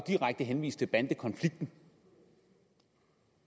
direkte henvist til bandekonflikten